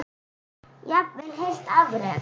Jafnvel heilt afrek?